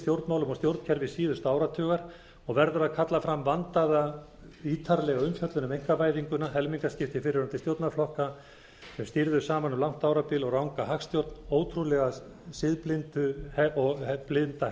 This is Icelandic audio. og stjórnkerfi síðasta áratugar og verður að kalla fram vandaða ítarlega umfjöllun um einkavæðinguna helmingaskipti fyrrverandi stjórnarflokka sem stýrðu saman um langt árabil og ranga hagstjórn ótrúlega siðblinda